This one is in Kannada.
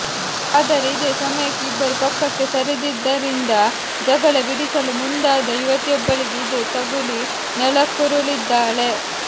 ಆದರೆ ಇದೇ ಸಮಯಕ್ಕೆ ಇಬ್ಬರು ಪಕ್ಕಕ್ಕೆ ಸರಿದಿದ್ದರಿಂದ ಜಗಳ ಬಿಡಿಸಲು ಮುಂದಾದ ಯುವತಿಯೊಬ್ಬಳಿಗೆ ಇದು ತಗುಲಿ ನೆಲಕ್ಕುರುಳಿದ್ದಾಳೆ